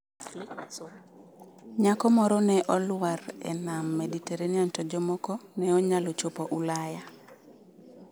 Nyako moro ne olwar e nam Mediterranean to jomoko ne onyalo chopo Ulaya